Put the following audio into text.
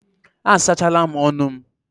A sachala m ọnụ m.